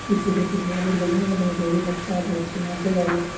पिछू ओकर पिछला बहुत बढ़िया बनलो ढेरी बच्चा छो सब छी नाचे गावे वाला।